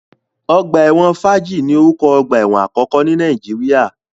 Ọgbà ẹ̀wọ̀n Fájì ni oruko ogbà ẹ̀wọ̀n àkọ́kọ́ ní Nàìjíríà